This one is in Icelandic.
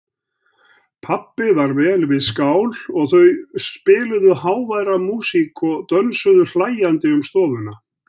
Pabbi var vel við skál og þau spiluðu háværa músík og dönsuðu hlæjandi um stofuna.